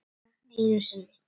Bara einu sinni.